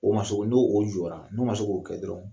O ma soko n'o o jɔra, n'o ma se k'o kɛ dɔrɔn